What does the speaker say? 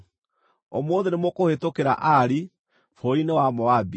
“Ũmũthĩ nĩmũkũhĩtũkĩra Ari, bũrũri-inĩ wa Moabi.